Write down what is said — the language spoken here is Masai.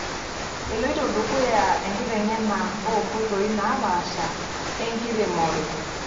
Eloito dukuya enkiteng'ena oo nkoitoi naapasha enkiremore.